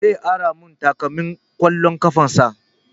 Zai ara mun takalmin ƙwallon ƙafan sa